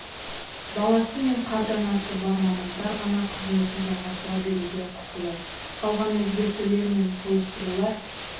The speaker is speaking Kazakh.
баласы мен қарт ата-анасы бар мамандар ғана қызметін жалғастыра беруге құқылы қалған өзгертулер мен толықтырулар